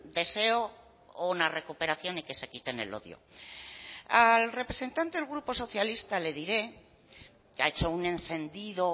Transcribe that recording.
deseo una recuperación y que se quiten el odio al representante del grupo socialista le diré que ha hecho un encendido